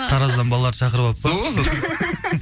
тараздан балаларды шақырып алып